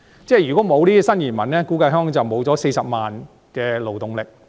如果沒有新移民，估計香港便失去40萬勞動力。